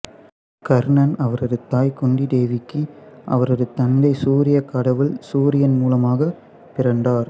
கர்ணன் அவரது தாய் குந்திதேவிக்கு அவரது தந்தை சூரியக் கடவுள் சூரியன் மூலமாகப் பிறந்தார்